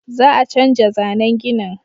Za a canja zannen ginin